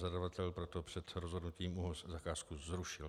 Zadavatel proto před rozhodnutím ÚOHZ zakázku zrušil.